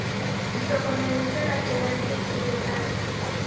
ditokomane tse latelang tse tshehetsang